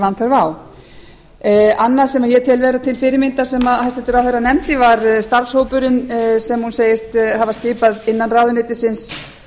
vanþörf á annað sem ég tel vera til fyrirmyndar sem hæstvirtur ráðherra nefndi var starfshópurinn sem hún segist hafa skipað innan ráðuneytisins